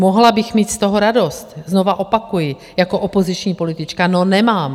Mohla bych mít z toho radost, znova opakuji, jako opoziční politička, no nemám.